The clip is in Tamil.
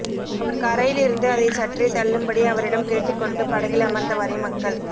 அவர் கரையிலிருந்து அதைச் சற்றே தள்ளும்படி அவரிடம் கேட்டுக் கொண்டு படகில் அமர்ந்தவாறே மக்கள்